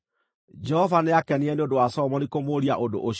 Jehova nĩakenire nĩ ũndũ wa Solomoni kũmũũria ũndũ ũcio.